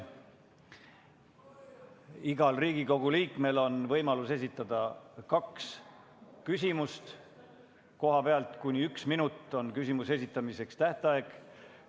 Igal Riigikogu liikmel on võimalus esitada kaks küsimust kohalt, kuni üks minut on küsimuse esitamise aeg.